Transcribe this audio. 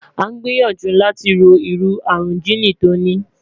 a n gbiyanju lati ro iru arun jiini ti o ni